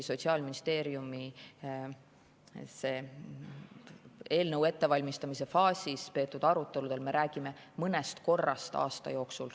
Sotsiaalministeeriumis eelnõu ettevalmistamise faasis peetud aruteludel me rääkisime mõnest korrast aasta jooksul.